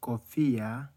Kofia